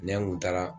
Ne kun taara